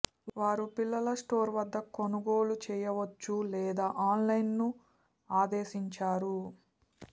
వారు పిల్లల స్టోర్ వద్ద కొనుగోలు చేయవచ్చు లేదా ఆన్లైన్ ఆదేశించారు